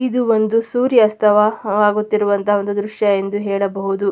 ಇದು ಒಂದು ಸೂರ್ಯಾಸ್ಥ ಆಗುತ್ತಿರುವ ದೃಶ್ಯ ಅಂತ ಹೇಳ್ಬಹುದು.